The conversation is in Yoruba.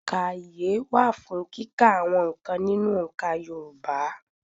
Ònkaye wà fún kíkà àwọn n̄ǹkan nínú òǹkà Yorùbá.